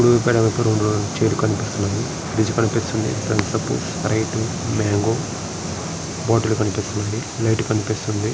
Blue colour chair కనిపిస్తుంది fridge కనిపిస్తుంది right mango bottle కనిపిస్తుంది ప్లేట్ కనిపిస్తుంది.